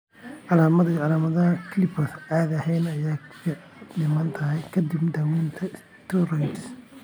Calaamadaha iyo calaamadaha CLIPERS caadi ahaan way fiicnaadaan ka dib daaweynta steroids.